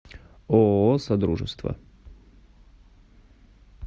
ооо содружество